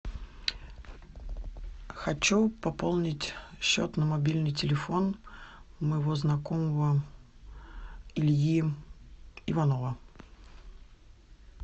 хочу пополнить счет на мобильный телефон моего знакомого ильи иванова